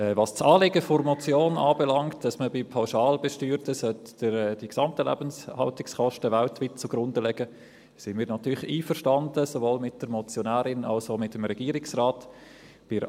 Was das Anliegen der Motion anbelangt, dass man bei Pauschalbesteuerten die gesamten Lebenshaltungskosten weltweit zugrunde legen sollte, sind wir natürlich sowohl mit der Motionärin als auch mit dem Regierungsrat einverstanden.